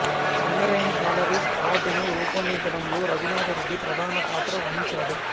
Singareni collieries అవార్డును రూపొందించడంలో రఘునాథరెడ్డి ప్రధాన పాత్ర వహించాడు